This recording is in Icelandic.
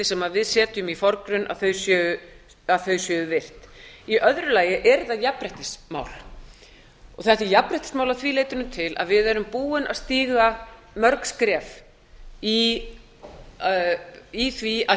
sem við setjum í forgrunn séu virt í öðru lagi er þetta jafnréttismál að því leytinu til að við erum búin að stíga mörg skref í því að